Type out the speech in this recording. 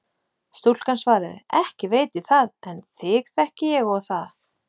Stúlkan svaraði: Ekki veit ég það en þig þekki ég og það.